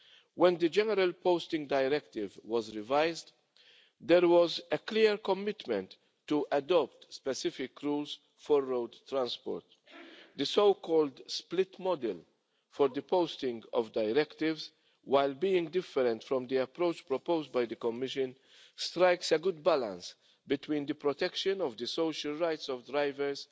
When the general Posting of Workers Directive was revised, there was a clear commitment to adopt specific rules for road transport. The so-called split model for the posting of directives, while being different from the approach proposed by the Commission, strikes a good balance between the protection of the social rights of drivers